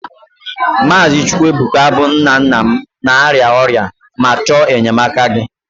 Maazị Chukwuebuka bụ nna nna m na-arịa ọrịa ma chọọ enyemaka gị